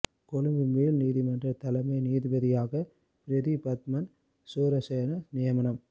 கொழும்பு மேல் நீதிமன்ற தலைமை நீதிபதியாக பிரீதி பத்மன் சூரசேன நியமனம்